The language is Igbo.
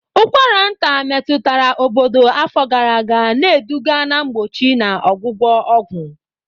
Ụkwara nta metụtara obodo afọ gara aga, na-eduga na mgbochi na ọgwụgwọ ọgwụ.